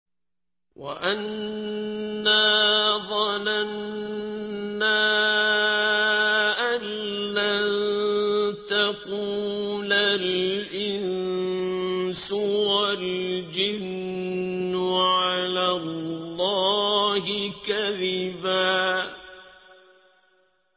وَأَنَّا ظَنَنَّا أَن لَّن تَقُولَ الْإِنسُ وَالْجِنُّ عَلَى اللَّهِ كَذِبًا